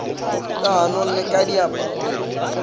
ka ganong le ka diaparong